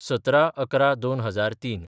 १७/११/२००३